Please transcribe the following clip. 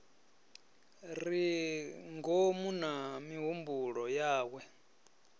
re ngomu na mihumbulo yawe